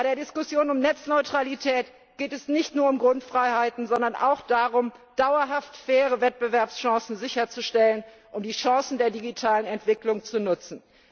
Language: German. Bei der Diskussion über Netzneutralität geht es nicht nur um Grundfreiheiten, sondern auch darum, dauerhaft faire Wettbewerbschancen sicherzustellen, um die Chancen der digitalen Entwicklung zu nutzen.